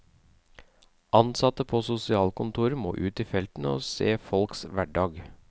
Ansatte på sosialkontorer må ut i felten og se folks hverdag.